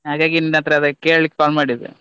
ಹಾಗಾಗಿ ನಿನ್ನತ್ರ ಅದೇ ಕೇಳಿಕ್ಕೆ call ಮಾಡಿದ್ದು.